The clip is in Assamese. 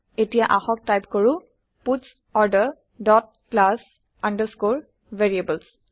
এতিয়া আহক টাইপ কৰো parts order dot class underscore variables